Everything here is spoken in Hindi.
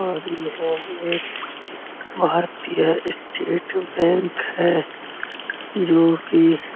और यह एक भारतीय स्टेट बैंक है जोकि --